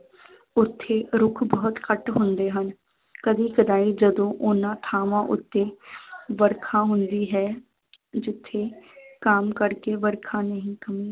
ਉੱਥੇ ਰੁੱਖ ਬਹੁਤ ਘੱਟ ਹੁੰਦੇ ਹਨ ਕਦੀ ਕਦਾਈ ਜਦੋਂ ਉਹਨਾਂ ਥਾਵਾਂ ਉੱਤੇ ਵਰਖਾ ਹੁੰਦੀ ਹੈ ਜਿੱਥੇ ਆਮ ਕਰਕੇ ਵਰਖਾ ਨਹੀਂ